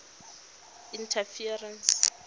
interference